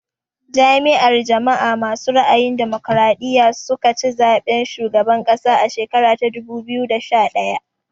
Jam'iyar jama'a masu ra'ayin damokaraɗiya su ka ci zaɓen shugaban ƙasa a shekara ta dubu biyu da sha ɗaya